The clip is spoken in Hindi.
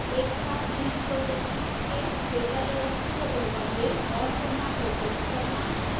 एक साथ भिन्न projections के data layers को ओवरले और पुनः प्रोजेक्ट करना